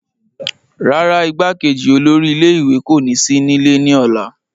rárá, igbákejì olórí ilé ìwé kò ní sí nílé ní ọ̀la